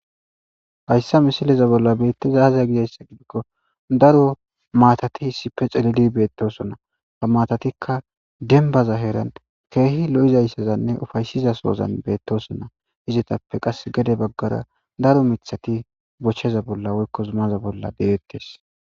Hayssa misileza bolla beetteza azaya gidayssa gidikko daro maatati hissippe celili beettosona ba matatikka denbaza heeran keehi lo7izayssazanne ufaysiza soozan beettosona izetappe qas gede baggara daro mithati bochcheza bolla woykko zumaza bolla deettes